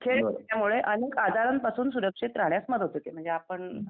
खेळ एवढे अनेक आजारांपासून सुरक्षित राहण्यास मदत होते म्हणजे.